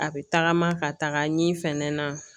A bɛ tagama ka taga ɲɛ fɛnɛ na